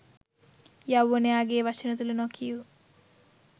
යෞවනයාගේ වචන තුළ නොකියූ